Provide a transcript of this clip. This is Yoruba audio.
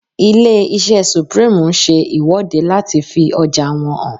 Ilé-iṣẹ́ Supreme ń ṣe ìwọ́de láti fi ọjà wọn hàn